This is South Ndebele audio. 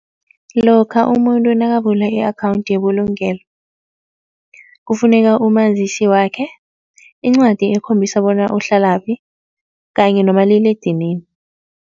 Lokha umuntu nakavula i-akhawundi yebulungelo, kufuneka umazisi wakhe, incwadi ekhombisa bona uhlalaphi kanye nomaliledinini.